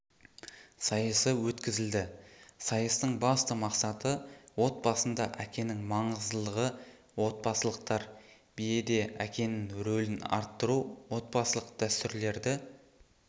сайысы өткізілді сайыстың басты мақсаты отбасында әкенің маңыздылығы отбасылықтәр биеде әкенің рөлін арттыру отбасылық дәстүрлерді